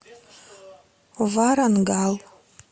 варангал